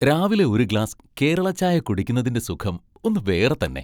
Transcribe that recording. രാവിലെ ഒരു ഗ്ലാസ് കേരള ചായ കുടിക്കുന്നതിന്റെ സുഖം ഒന്ന് വേറെ തന്നെ .